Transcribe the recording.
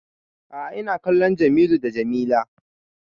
A'a ina kallon Jamilu d Jamila